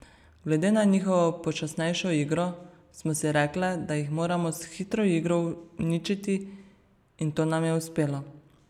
Glede na njihovo počasnejšo igro smo si rekle, da jih moramo s hitro igro uničiti in to nam je uspelo.